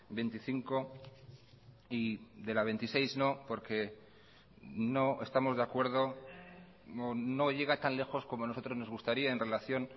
veinticinco y de la veintiséis no porque no estamos de acuerdo no llega tan lejos como nosotros nos gustaría en relación